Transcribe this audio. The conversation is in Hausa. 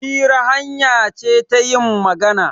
Hira hanya ce ta yin magana.